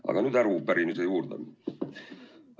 Aga nüüd arupärimise juurde.